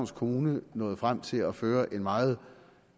kommune nåede frem til at føre en meget